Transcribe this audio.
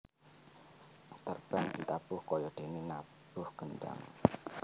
Terbang ditabuh kayadéné nabuh kendhang